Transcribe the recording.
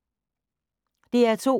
DR2